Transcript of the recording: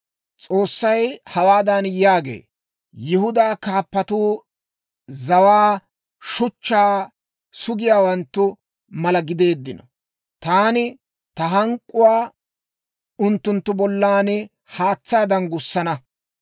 S'oossay hawaadan yaagee; «Yihudaa kaappatuu zawaa shuchchaa sugiyaawanttu mala gideeddino; taani ta hank'k'uwaa unttunttu bollan haatsaadan gussana.